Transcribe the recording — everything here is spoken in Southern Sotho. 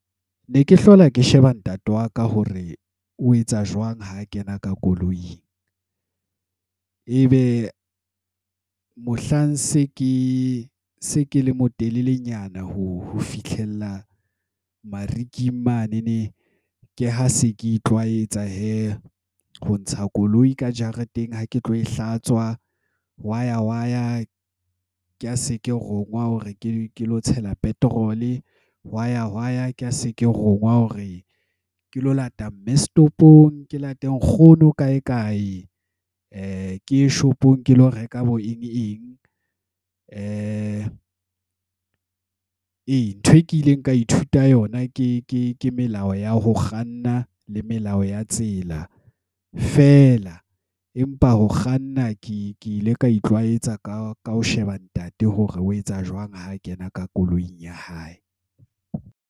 Ne ke hlola ke sheba ntate wa ka hore o etsa jwang ha kena ka koloing. Ebe mohlang se ke le motelelenyana ho fihlella mariking manene, ke ha se ke itlwaetsa hee ho ntsha koloi ka jareteng ha ke tlo e hlatswa. Hwa ya waya, ke ha se ke ronngwa hore ke lo tshela petrol-e. Hwa ya hwa ya, ke ha se ke rongwa hore ke lo lata mme setopong, ke late nkgono kae-kae, ke ye shopong ke lo reka bo eng-eng. Ee, ntho e kileng ka ithuta yona ke melao ya ho kganna le melao ya tsela feela. Empa ho kganna ke ile ka itlwaetsa ka ho sheba ntate hore o etsa jwang ha kena ka koloing ya hae.